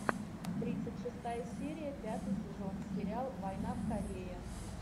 тридцать шестая серия пятый сезон сериал война в корее